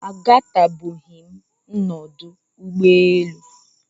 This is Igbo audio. A gatụbeghịm nọdụ ụgbọ elu.